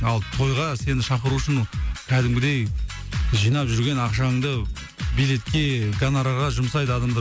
ал тойға сені шақыру үшін қәдімгідей жинап жүрген ақшаңды билетке гонорарға жұмсайды адамдар